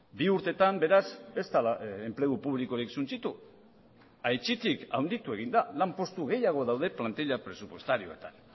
bi urtetan beraz ez dela enplegu publikorik suntsitu aitzitik handitu egin da lanpostu gehiago daude plantila presupuestarioetan